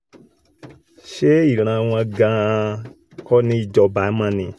ṣe ìran wọn gan-an kọ́ ní í jọba mọ́ ni